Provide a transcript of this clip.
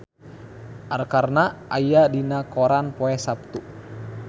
Arkarna aya dina koran poe Saptu